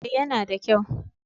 Eh ya na da kyau